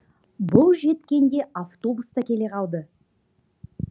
бұл жеткенде автобус та келе қалды